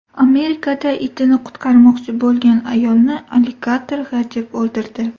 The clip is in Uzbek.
Amerikada itini qutqarmoqchi bo‘lgan ayolni alligator g‘ajib o‘ldirdi.